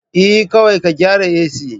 Eh, kawai ka gyara AC